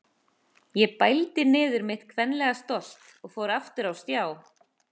Ég bældi niður mitt kvenlega stolt og fór aftur á stjá.